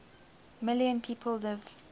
million people live